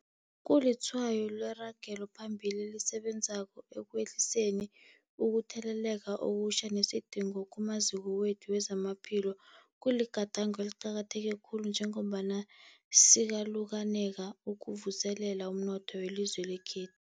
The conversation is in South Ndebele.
Kulitshwayo leragelo phambili esilenzako ekwehliseni ukutheleleka okutjha nesidingo kumaziko wethu wezamaphilo. Kuligadango eliqakatheke khulu njengombana sikalukanela ukuvuselela umnotho welizwe lekhe